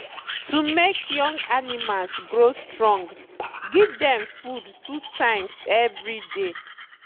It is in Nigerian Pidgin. to make young animals grow strong give dem food two times every day.